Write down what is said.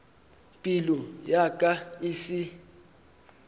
pelo ya ka e se